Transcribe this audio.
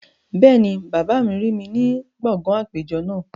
Bẹ́ẹ̀ni, bàbá mi rí mi ní gbọ̀ngàn àpéjọ náà